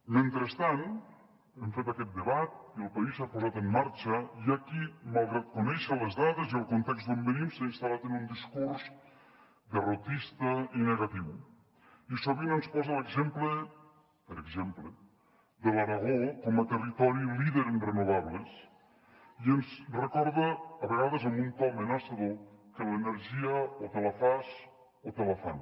mentre hem fet aquest debat i el país s’ha posat en marxa hi ha qui malgrat conèixer les dades i el context d’on venim s’ha instal·lat en un discurs derrotista i negatiu i sovint ens posa l’exemple per exemple de l’aragó com a territori líder en renovables i ens recorda a vegades amb un to amenaçador que l’energia o te la fas o te la fan